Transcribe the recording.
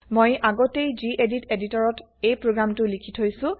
মই আগতেই গেদিত এদিটৰত এই প্ৰগ্ৰেমটো লিখি থৈছো